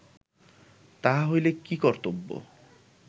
তাহা হইলে কি কর্তব্য